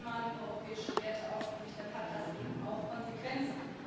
Wenn man europäische Werte aufkündigt, dann hat das eben auch Konsequenzen.